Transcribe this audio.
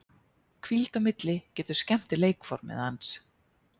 Hvíld á milli getur skemmt leikformið hans.